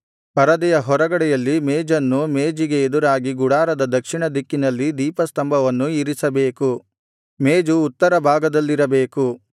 ಪರದೆಯ ಹೊರಗಡೆಯಲ್ಲಿ ಮೇಜನ್ನೂ ಮೇಜಿಗೆ ಎದುರಾಗಿ ಗುಡಾರದ ದಕ್ಷಿಣ ದಿಕ್ಕಿನಲ್ಲಿ ದೀಪಸ್ತಂಭವನ್ನೂ ಇರಿಸಬೇಕು ಮೇಜು ಉತ್ತರ ಭಾಗದಲ್ಲಿರಬೇಕು